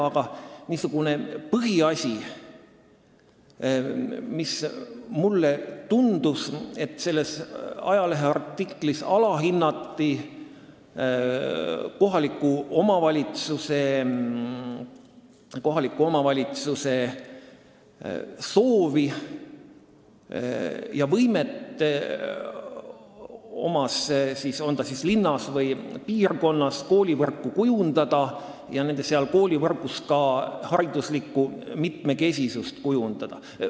Üks niisugune põhiasi oli see, et mulle tundus, nagu selles ajaleheartiklis oleks alahinnatud kohaliku omavalitsuse soovi ja võimet – asub see omavalitsus siis linnas või maapiirkonnas – koolivõrku kujundada ja seal ka hariduslikku mitmekesisust kujundada.